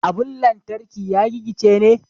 Abun lantarki ya gigice ne.